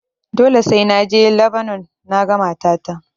Dole sai na je Labanon naga matata.